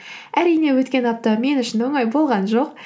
әрине өткен апта мен үшін оңай болған жоқ